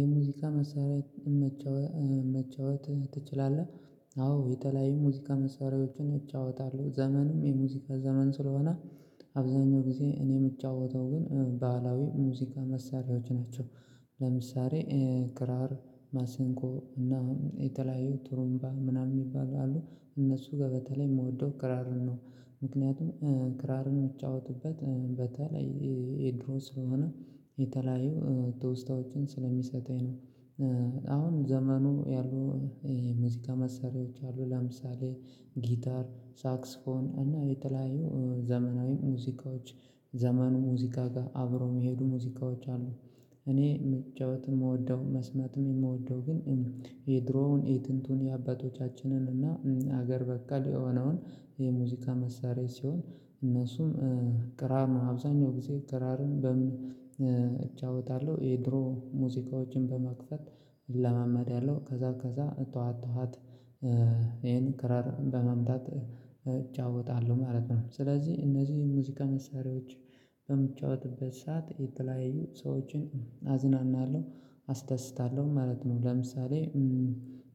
የሙዚቃ መሳሪያ መጫወት ትችላለህ? አዎ የተለያዩ ሙዚቃ መሳሪያዎችን እጫወታለሁ ዘመኑም የሙዚቃ ዘመን ስለሆነ አብዛኛው ጊዜ እኔ የምጫወተው ግን ባህላዊ ሙዚቃ መሳሪያዎች ናቸው። ለምሳሌ ክራር ማሲንቆ እና የተለያዩ ጥሩምባ ምናምን የሚባሉ አሉ። እነሱ ጋር በተለይ የምወደው ክራርን ነው። ምክንያቱም ክራርን የምጫወትበት በተለይ የድሮ ስለሆነ የተለያየው ትውስታዎችን ስለሚሰጠኝ ነው። አሁን ዘመኑ ያሉ ሙዚቃ መሳሪያዎች አሉ ለምሳሌ ጊታር ሳክስፎን እና የተለያዩ ዘመናዊ ሙዚቃዎች ዘመኑ ሙዚቃ ጋር አብሮ የሚሄዱ ሙዚቃዎች አሉ። እኔ መጫወትም የምወደው መስመትም የምወደው ግን የድሮውን የጥንቱን የአባቶቻችንን እና ሀገር በቃ ለሆነውን የሙዚቃ መሳሪያ ሲሆን እነሱም ክራር ነው አብዛኛው ጊዜ ክራርን በምን እጫወታለሁ የድሮ ሙዚቃዎችን በመክፈት እለማመዳለው ከዛ ከዛ እጠዋት ጠዋት ይሄን ክራር በመምታት እጫወታለሁ ማለት ነው። ስለዚህ እነዚህ ሙዚቃ መሳሪያዎች በምትጫወትበት ሰዓት የተለያየ ሰዎችን አዝናናለሁ አስታስታለሁ ማለት ነው። ለምሳሌ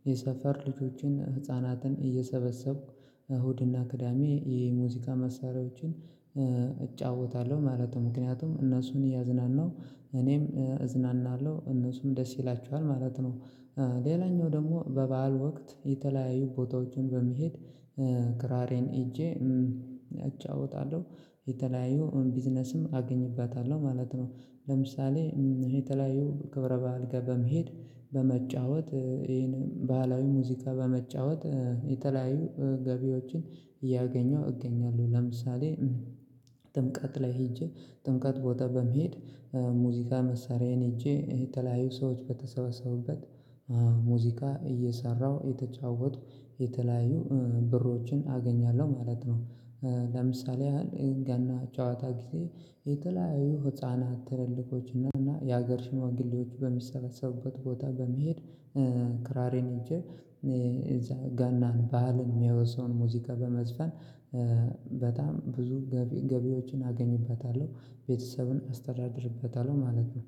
የሰፈር ልጆችን ህፃናትን እየሰበሰብኩ እሁድና ቅዳሜ የሙዚቃ መሳሪያዎችን እጫወታለሁ ማለት ነው። ምክንያቱም እነሱን እያዝናናሁ እኔም እዝናናለሁ እነሱም ደስ ይላችዋል ማለት ነው። ሌላኛው ደግሞ በበዓል ወቅት የተለያዩ ቦታዎችን በመሄድ ክራሬን ይዤ እጫወታለሁ የተለያዩ ቢዝነስም አገኝበታለሁ ማለት ነው። ለምሳሌ የተለያየው ክብረ በዓል ጋር በመሄድ በመጫወት ይሄን ባህላዊ ሙዚቃ በመጫወት የተለያዩ ገቢዎችን እያገኘሁ እገኛለሁ። ለምሳሌ ጥምቀት ላይ ሄጄ ጥምቀት ቦታ በመሄድ ሙዚቃ መሳሪያዬን ይዤ የተለያዩ ሰዎች በተሰበሰቡበት ሙዚቃ እየሰራሁ የተጫወቱ የተለያዩ ብሮችን አገኛለሁ ማለት ነው። ለምሳሌ ያህል ገና ጨዋታ ጊዜ የተለያዩ ህፃናት ትልልቆችና የሀገር ሽማግሌዎች በሚሰበሰቡበት ቦታ በመሄድ ክራሬን ይዤ ገናን ባህልን የሚያወስውን ሙዚቃ በመዝፈን በጣም ብዙ ገቢዎችን አገኝበታለሁ ቤተሰብን አስተዳድርበታለሁ ማለት ነው